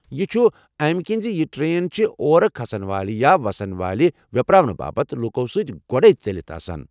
یہِ چھُ امہِ کِنۍ زِ یہِ ٹرین چھےٚ اورٕ کھسن والہِ یا وسن والہِ ویپراونہٕ باپت لوٗکو سۭتۍ گوڈے ژیلِتھ آسان۔